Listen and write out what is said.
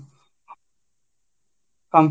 computer